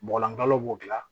Bɔgɔlankalo b'o dilan